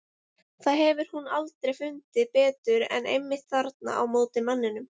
Það hefur hún aldrei fundið betur en einmitt þarna á móti manninum.